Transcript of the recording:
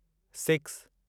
six